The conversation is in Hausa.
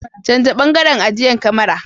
Canja bangaren ajiyan kamara.